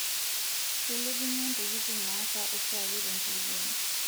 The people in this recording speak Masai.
Keilepunyie ntokitin naasa oshiake tenkulukuoni.